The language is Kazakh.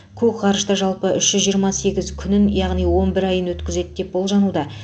кук ғарышта жалпы үш жүз жиырма сегіз күнін яғни он бір айын өткізеді деп болжануда